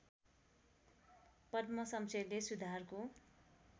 पद्म शमशेरले सुधारको